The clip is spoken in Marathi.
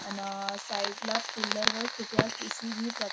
अन् साईड ला पिल्लर वर कृपया किसी भी प्रका --